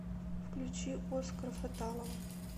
включи оскара фатталова